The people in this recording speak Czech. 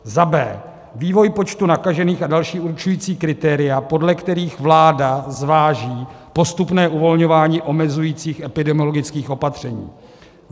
b) vývoj počtu nakažených a další určující kritéria, podle kterých vláda zváží postupné uvolňování omezujících epidemiologických opatření;